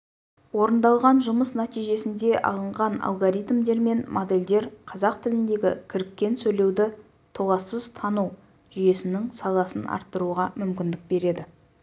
орындалған жұмыс нәтижесінде алынған алгоритмдер мен модельдер қазақ тіліндегі кіріккен сөйлеуді толассыз тану жүйесінің сапасын арттыруға мүмкіндік берді